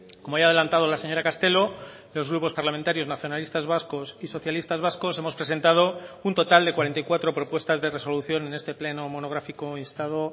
como ya ha adelantado la señora castelo los grupos parlamentarios nacionalistas vascos y socialistas vascos hemos presentado un total de cuarenta y cuatro propuestas de resolución en este pleno monográfico instado